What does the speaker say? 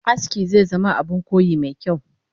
Aski zezama Abun koyi mekyau